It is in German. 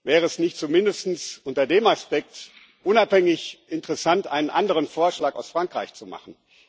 Wäre es nicht mindestens unter dem Aspekt unabhängig interessant, einen anderen Vorschlag aus Frankreich zu machen?